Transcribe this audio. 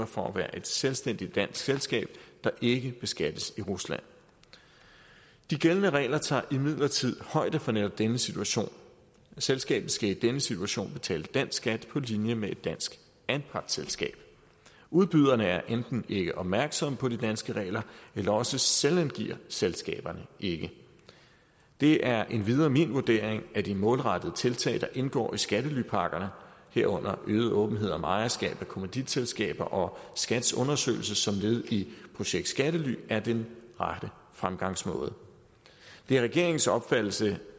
for at være et selvstændigt dansk selskab der ikke beskattes i rusland de gældende regler tager imidlertid højde for netop denne situation selskabet skal i denne situation betale dansk skat på linje med et dansk anpartsselskab udbyderne er enten ikke opmærksomme på de danske regler eller også selvangiver selskaberne ikke det er endvidere min vurdering at de målrettede tiltag der indgår i skattelypakkerne herunder øget åbenhed om ejerskab af kommanditselskaber og skats undersøgelse som led i projekt skattely er den rette fremgangsmåde det er regeringens opfattelse